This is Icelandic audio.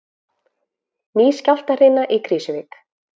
Ný skjálftahrina í Krýsuvík